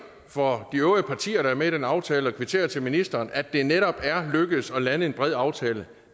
for de øvrige partier der er med i den aftale og kvittere til ministeren at det netop er lykkedes at lande en bred aftale